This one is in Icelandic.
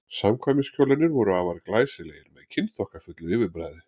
samkvæmiskjólarnir voru afar glæsilegir með kynþokkafullu yfirbragði